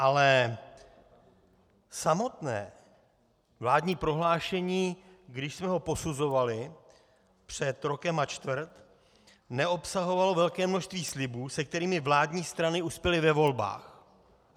Ale samotné vládní prohlášení, když jsme ho posuzovali před rokem a čtvrt, neobsahovalo velké množství slibů, se kterými vládní strany uspěly ve volbách.